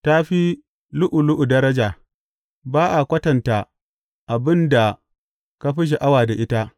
Ta fi lu’ulu’u daraja; ba a kwatanta abin da ka fi sha’awa da ita.